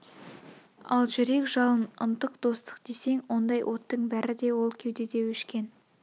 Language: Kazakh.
ал жүрек жалын ынтық достық десең ондай оттың бәрі де ол кеудеде өшкен